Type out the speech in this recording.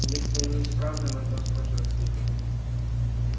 если они исправны можно воспользоваться ими